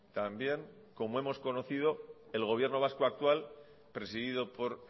también como hemos conocido el gobierno vasco actual presidido por